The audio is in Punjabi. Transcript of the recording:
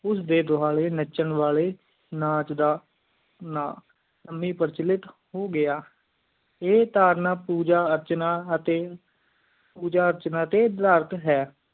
ਇਸ ਡੇ ਦਵਾਲੀ ਨਾਚਾਂ ਵਾਲੀ ਨਾਚ ਦਾ ਸਾਮੀ ਪਰਚੋਲਿਟ ਹੋ ਗਯਾ ਪੋਜ ਅਰਚਨਾ ਅਤਿ ਪੂਜਾ ਕਰਚਾਣਾ ਟੀ ਡਾਰਤ ਹੈ